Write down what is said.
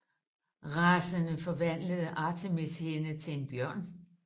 Rasende forvandlede Artemis hende til en bjørn